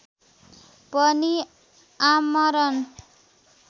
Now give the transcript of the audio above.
पनि आमरण